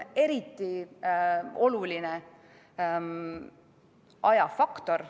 Eriti oluline on ajafaktor.